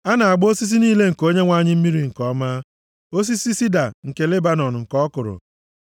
A na-agba osisi niile nke Onyenwe anyị mmiri nke ọma, osisi sida nke Lebanọn nke ọ kụrụ.